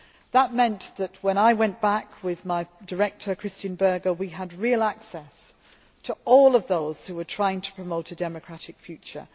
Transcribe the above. That meant that when I went back with my Director, Christian Berger, we had real access to all of those who were trying to promote a democratic future.